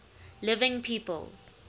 living people